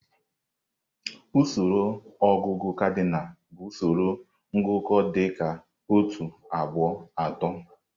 Usoro ọgụgụ kadịnal bụ usoro ngụkọ dị ka otu, abụọ, atọ.